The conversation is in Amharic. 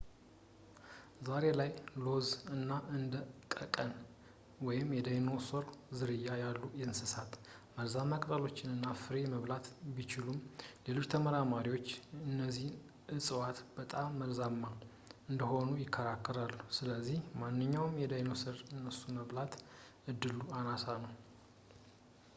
ዛሬ ላይ ስሎዝ እና እንደ በቀቀን የዳይኖሰሮች ዝርያ ያሉ እንሰሳት መርዛማ ቅጠሎችን እና ፍሬ መብላት ቢችሉም፣ ሌሎች ተመራማሪዎች እነዚህ እፅዋት በጣም መርዛማ እንደሆኑ ይከራከራሉ ስለዚህ ማንኛውም ዳይኖሰር እነሱን የመብላት ዕድሉ አናሳ ነው